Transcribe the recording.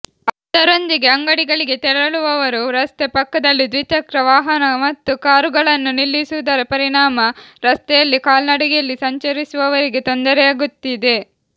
ಅದರೊಂದಿಗೆ ಅಂಗಡಿಗಳಿಗೆ ತೆರಳುವವರು ರಸ್ತೆ ಪಕ್ಕದಲ್ಲಿ ದ್ವಿಚಕ್ರ ವಾಹನ ಮತ್ತು ಕಾರುಗಳನ್ನು ನಿಲ್ಲಿಸುವುದರ ಪರಿಣಾಮ ರಸ್ತೆಯಲ್ಲಿ ಕಾಲ್ನಡಿಗೆಯಲ್ಲಿ ಸಂಚರಿಸುವವರಿಗೆ ತೊಂದರೆಯಾಗುತ್ತಿದೆ